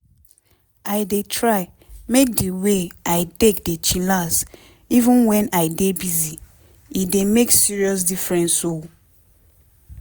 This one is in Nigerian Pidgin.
i dey try make di way i take dey chillax even wen i dey busy e dey make serious difference o.